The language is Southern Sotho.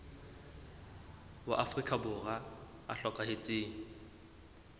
wa afrika borwa ya hlokahetseng